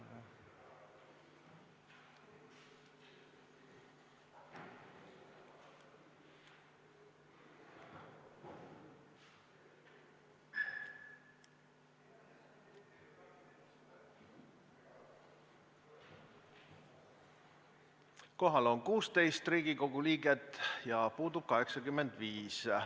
Kohaloleku kontroll Kohal on 16 Riigikogu liiget ja puudub 85.